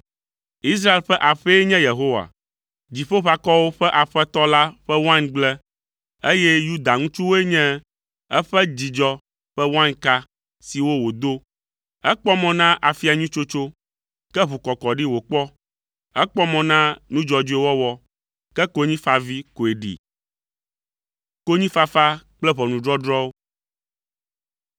Israel ƒe aƒee nye Yehowa, Dziƒoʋakɔwo ƒe Aƒetɔ la, ƒe waingble, eye Yuda ŋutsuwoe nye eƒe dzidzɔ ƒe wainka siwo wòdo. Ekpɔ mɔ na afia nyui tsotso, ke ʋukɔkɔɖi wòkpɔ; ekpɔ mɔ na nu dzɔdzɔe wɔwɔ, ke konyifavi koe ɖi.